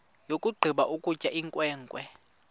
yakugqiba ukutya inkwenkwe